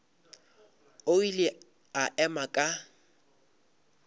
o ile a ema ka